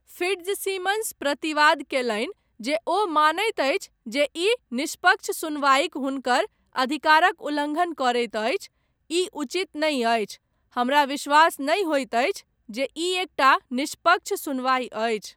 Fitzsimmons प्रतिवाद कयलनि जे ओ मानैत अछि जे ई निष्पक्ष सुनवाइक हुनकर अधिकारक उल्लङ्घन करैत अछि, 'ई उचित नहि अछि। हमरा विश्वास नहि होइत अछि जे ई एकटा निष्पक्ष सुनवाइ अछि।